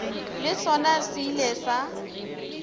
le sona se ile sa